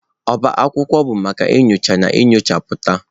Ọbá akwụkwọ bụ maka nyocha na nchọpụta.